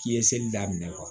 K'i ye seli daminɛ